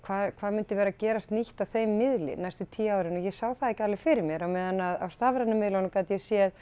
hvað hvað myndi vera að gerast nýtt á þeim miðli næstu tíu árin og ég sá það ekki alveg fyrir mér á meðan að á stafrænu miðlunum gat ég séð